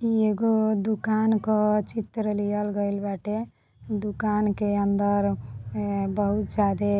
ई एगो दूकान का चित्र लिहल गइल बाटे। दुकान के अंदर बहुत ज्यादे